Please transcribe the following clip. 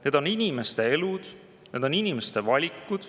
Need on inimeste elud, need on inimeste valikud.